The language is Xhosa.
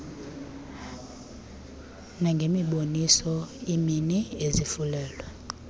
nangemiboniso iimini ezivulelwe